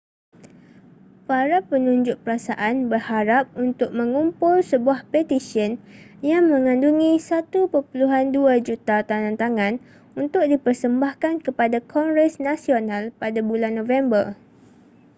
para penunjuk perasaan berharap untuk mengumpul sebuah petisyen yang mengandungi 1.2 juta tandatangan untuk dipersembahkan kepada kongres nasional pada bulan november